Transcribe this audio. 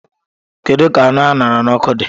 Kedu ka anụ a ṅara n'ọkụ dị?